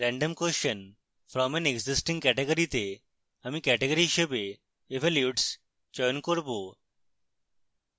random question from an existing category তে আমি category হিসাবে evolutes চয়ন করব